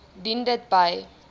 dien dit by